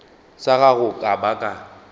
sa gago ka ba ka